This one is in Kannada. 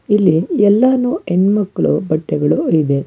ಇಲ್ಲಿ ಎಲ್ಲಾನು ಹೆಣ್ಮಕ್ಳು ಬಟ್ಟೆಗಳು ಇವೆ.